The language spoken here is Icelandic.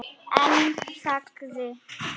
En þagði.